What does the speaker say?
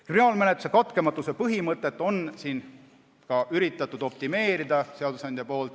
Kriminaalmenetluse katkematuse põhimõtet on seadusandja ka üritanud optimeerida.